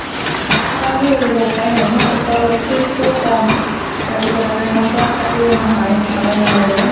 কাৰণ কি কৰিব উপাই নাই ন তাতে অলপ fees টোও কম। তাৰ পিছত আৰু ইমান class পাতিও নহয় যাবও নালাগে